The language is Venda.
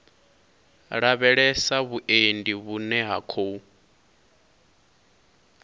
lavhelesa vhuendi vhune ha khou